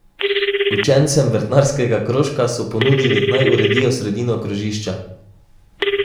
Učencem vrtnarskega krožka so ponudili, naj uredijo sredino krožišča.